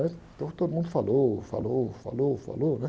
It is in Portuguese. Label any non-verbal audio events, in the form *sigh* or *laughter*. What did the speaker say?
*unintelligible* Então todo mundo falou, falou, falou, falou, né?